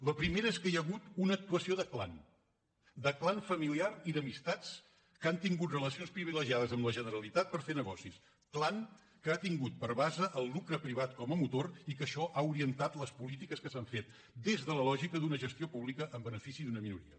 la primera és que hi ha hagut una actuació de clan de clan familiar i d’amistats que han tingut relacions privilegiades amb la generalitat per fer negocis clan que ha tingut per base el lucre privat com a motor i que això ha orientat les polítiques que s’han fet des de la lògica d’una gestió pública en benefici d’una minoria